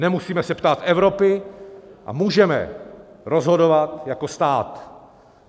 Nemusíme se ptát Evropy a můžeme rozhodovat jako stát.